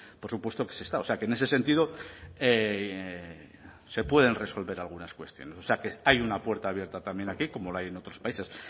por supuesto que se está o sea que en ese sentido se pueden resolver algunas cuestiones o sea que hay una puerta abierta también aquí como la hay en otros países